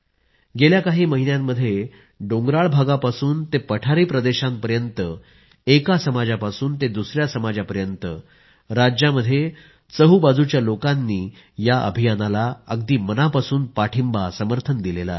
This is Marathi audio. गेल्या काही महिन्यांमध्ये डोंगराळ भागापासून ते पठारी प्रदेशापर्यंत एका समाजापासून ते दुसया समाजापर्यंत राज्यामध्ये चौहो बाजूंच्या लोकांनी या अभियानाला अगदी मनापासून पाठिंबा समर्थन दिलं आहे